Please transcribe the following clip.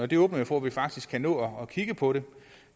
det åbner jo for at vi faktisk kan nå at kigge på det